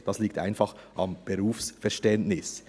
Das liegt einfach am Berufsverständnis.